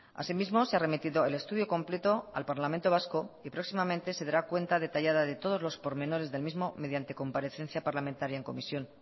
asimismo se ha remitido el estudio completo al parlamento vasco y próximamente se dará cuenta detallada de todos los por menores del mismo mediante comparecencia parlamentaria en comisión